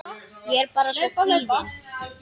Ég er bara svo kvíðin.